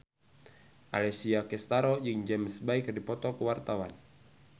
Alessia Cestaro jeung James Bay keur dipoto ku wartawan